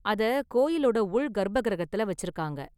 அத கோயிலோட உள் கர்ப்ப கிரகத்துல வச்சிருக்காங்க.